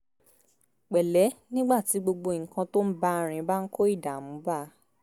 pẹ̀lẹ́ nígbà tí gbogbo nǹkan tó ń bá a rìn bá ń kó ìdààmú bá a